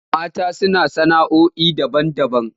Mata suna sana'oi daban-daban.